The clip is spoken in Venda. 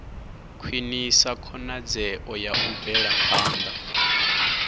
khwinisa khonadzeo ya u bvelaphanda